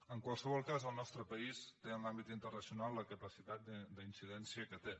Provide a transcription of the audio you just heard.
en qualsevol cas el nostre país té en l’àmbit internacional la capacitat d’incidència que té